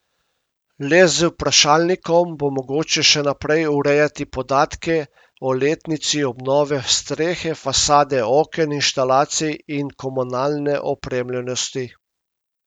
Le z vprašalnikom bo mogoče še naprej urejati podatke o letnici obnove strehe, fasade, oken, inštalacij in komunalne opremljenosti.